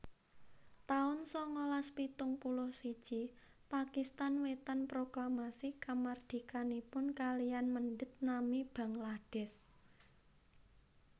taun sangalas pitung puluh siji Pakistan Wetan proklamasi kamardikanipun kaliyan mendhet nami Bangladesh